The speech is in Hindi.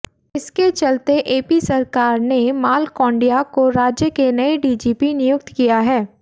इसके चलते एपी सरकार ने मालकोंडय्या को राज्य के नये डीजीपी नियुक्त किया है